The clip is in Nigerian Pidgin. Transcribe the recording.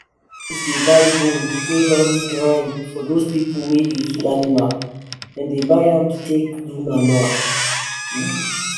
companies dey buy bone wey dey don grind from those people wey dey kill animal. them dey buy am to take do manure